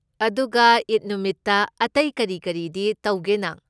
ꯑꯗꯨꯒ ꯏꯗ ꯅꯨꯃꯤꯠꯇ ꯑꯇꯩ ꯀꯔꯤ ꯀꯔꯤꯗꯤ ꯇꯧꯒꯦ ꯅꯪ?